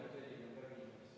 Aitäh, hea istungi juhataja!